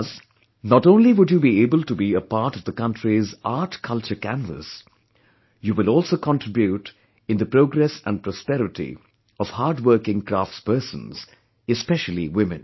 Thus, not only would you be able to be a part of the country's artculture canvas; you will also contribute in the progress & prosperity of hardworking crafts persons, especially women